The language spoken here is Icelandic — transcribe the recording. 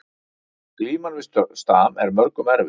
Glíman við stam er mörgum erfið